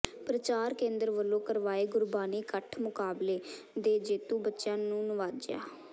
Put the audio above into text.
ਪ੍ਰਚਾਰ ਕੇਂਦਰ ਵੱਲੋਂ ਕਰਵਾਏ ਗੁਰਬਾਣੀ ਕੰਠ ਮੁਕਾਬਲੇ ਦੇ ਜੇਤੂ ਬੱਚਿਆਂ ਨੂੰ ਨਿਵਾਜਿਆ